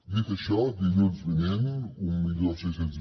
dit això dilluns vinent mil sis cents